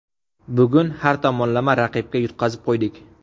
Bugun har tomonlama raqibga yutqazib qo‘ydik.